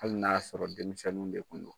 Hali n'a y'a sɔrɔ denmisɛnninw de tun do .